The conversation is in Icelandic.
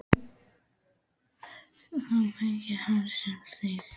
Þeir bjuggu í hellum, einsetukofum eða litlum þyrpingum smáhýsa.